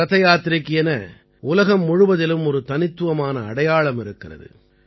ரதயாத்திரைக்கு என உலகம் முழுவதிலும் ஒரு தனித்துவமான அடையாளம் இருக்கிறது